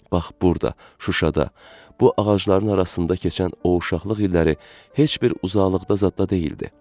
Bax burda, Şuşada, bu ağacların arasında keçən o uşaqlıq illəri heç bir uzaqlıqda zadda deyildi.